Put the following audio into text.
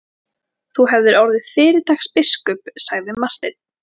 Þú hefðir orðið fyrirtaks biskup, sagði Marteinn.